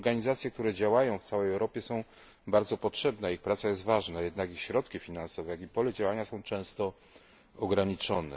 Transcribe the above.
Te organizacje, które działają w całej Europie, są bardzo potrzebne i ich praca jest ważna, jednak ich środki finansowe, jak i pole działania są często ograniczone.